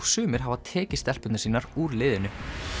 sumir hafa tekið stelpurnar sínar úr liðinu